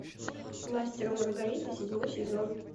мастер и маргарита седьмой сезон